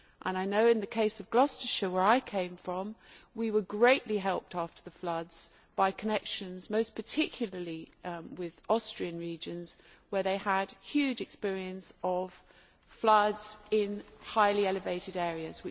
I know in the case of Gloucestershire, where I came from, we were greatly helped after the floods by connections most particularly with Austrian regions, where they had major experience of flooding in highly elevated areas.